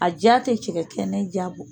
A ja tɛ cɛkɛ kɛnɛ ja bɔ!